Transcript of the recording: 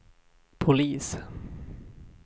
polis